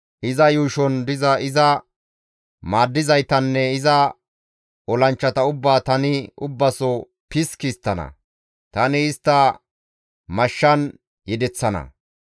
Iza yuushon diza iza maaddizaytanne iza olanchchata ubbaa tani ubbaso piski histtana; tani istta mashshan yedeththana.